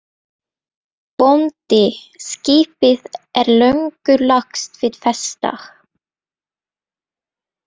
BÓNDI: Skipið er löngu lagst við festar.